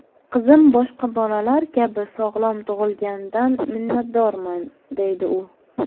Qizim boshqa bolalar kabi sog‘lom tug‘ilganidan minnatdorman”, deydi u.